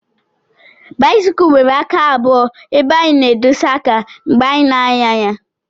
Báịsikụ nwèrè àká abụo ébé anyị na-édosa àká mgbe anyị na-ànyà ya